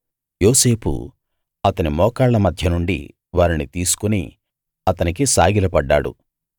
యోసేపు అతని మోకాళ్ళ మధ్య నుండి వారిని తీసుకు అతనికి సాగిలపడ్డాడు